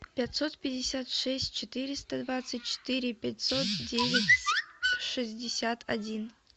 пятьсот пятьдесят шесть четыреста двадцать четыре пятьсот девять шестьдесят один